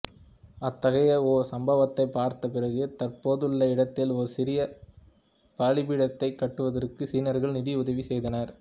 அத்தகைய ஒரு சம்பவத்தை பார்த்த பிறகு தற்போதுள்ள இடத்தில் ஒரு சிறிய பலிபீடத்தை கட்டுவதற்கு சீனர்கள் நிதி உதவி செய்தனர்